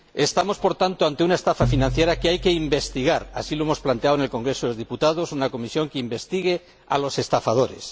Estamos, por tanto, ante una estafa financiera que hay que investigar. Así lo hemos planteado en el Congreso de los Diputados una comisión que investigue a los estafadores.